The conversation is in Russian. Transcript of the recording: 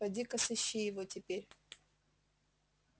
пойди ка сыщи его теперь